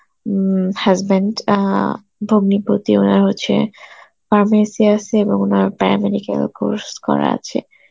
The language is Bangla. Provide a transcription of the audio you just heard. উম husband অ্যাঁ ভগ্নিপতি ওরা হচ্ছে para medical course করা আছে.